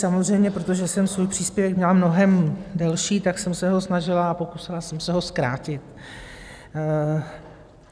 Samozřejmě protože jsem svůj příspěvek měla mnohem delší, tak jsem se ho snažila a pokusila jsem se ho zkrátit.